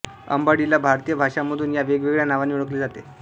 अंबाडीला भारतीय भाषांमधून या वेगवेगळ्या नावांनी ओळखले जाते